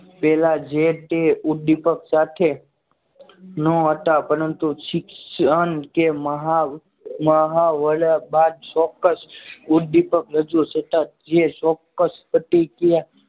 પહેલા જે તે ઉદ્દીપક સાથે ન હતા પરંતુ શિક્ષણ કે મહા વડા બાદ ચોક્કસ ઉદ્દીપક રજૂ થતા જે ચોક્કસ પ્રતિક્રિયા